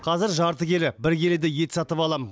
қазір жарты келі бір келідей ет сатып алам